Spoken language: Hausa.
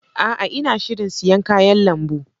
A'a! Ina shirin siyan kayan lambu.